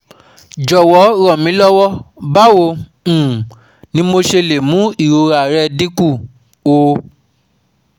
Jọ̀wọ́ ràn mí lọ́wọ́, báwo um ni mo ṣe lè mú ìrora rẹ̀ dín kù o?